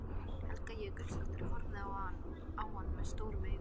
Helga Jökulsdóttir horfði á hann stórum augum.